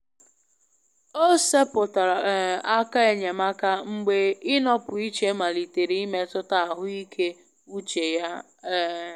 O seputara um aka enyemaka mgbe ịnọpụ iche malitere imetụta ahụike uche ya. um